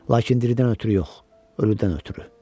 Lakin diridən ötrü yox, ölüdən ötrü.